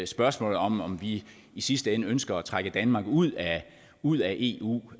spørgsmålet om om vi i sidste ende ønsker at trække danmark ud ud af eu